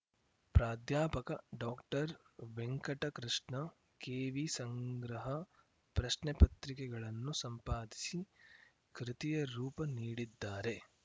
ಪ್ರಾಧ್ಯಾಪಕ ಡಾಕ್ಟರ್ವೆಂಕಟಕೃಷ್ಣ ಕೆವಿ ಸಂಗ್ರಹ ಪ್ರಶ್ನೆಪತ್ರಿಕೆಗಳನ್ನು ಸಂಪಾದಿಸಿ ಕೃತಿಯ ರೂಪ ನೀಡಿದ್ದಾರೆ